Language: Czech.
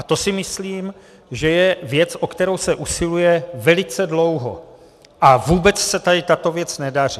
A to si myslím, že je věc, o kterou se usiluje velice dlouho, a vůbec se tady tato věc nedaří.